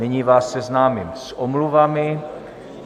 Nyní vás seznámím s omluvami.